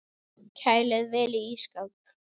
Kælið vel í ísskáp.